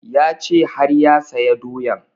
Ya ce har ya saya doyan